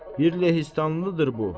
Bir lehistandlıdır bu.